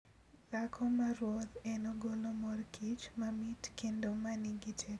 Dhako maruoth en ogolo mor kich mamit kendo ma nigi teko ahinya.